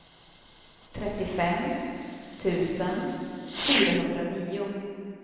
trettiofem tusen fyrahundranio